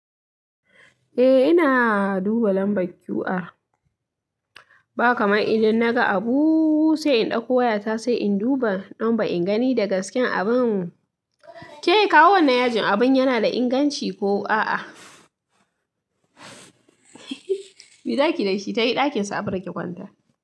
Eh ina duba lambar QR. Ba kamar idan naga abu sai in ɗauko wayata sai in duba don ba in gani da gasken abun. Ke kawu wannan yajin abun yana da inganci ko a'a? Mezaki da shi tayi ɗakinsu Afra ki kwanta.